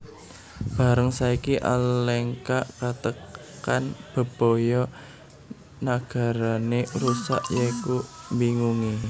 Bareng saiki Alengka katekan bebaya nagarané rusak saiki mbingungi